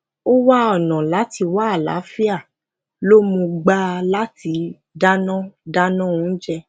ó wá ọnà láti wá àlàáfíà lo muu gba lati dana dana ounje